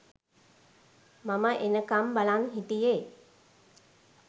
මම එනකම් බලන් හිටියෙ